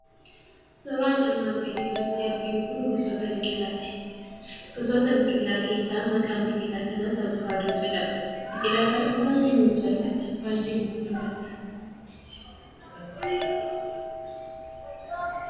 Suuraan armaan gadii irratti arginu kun gosoota biqilaati. Gisoota biqilaa keessaa maqaan biqilaa kanaas 'Avokaadoo' jedhama. Biqilaa kana baay'een jaalladha, baay'ee natti tolas.